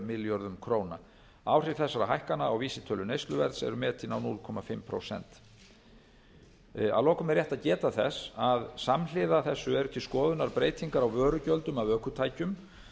milljörðum króna áhrif þessara hækkana á vísitölu neysluverðs eru metin á hálft prósent að lokum er rétt að geta þess að samhliða þessu eru til skoðunar breytingar á vörugjöldum af ökutækjum